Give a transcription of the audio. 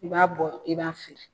I b'a bɔ i b'a feere